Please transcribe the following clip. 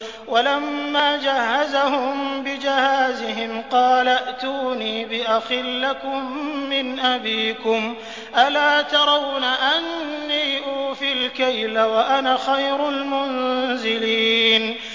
وَلَمَّا جَهَّزَهُم بِجَهَازِهِمْ قَالَ ائْتُونِي بِأَخٍ لَّكُم مِّنْ أَبِيكُمْ ۚ أَلَا تَرَوْنَ أَنِّي أُوفِي الْكَيْلَ وَأَنَا خَيْرُ الْمُنزِلِينَ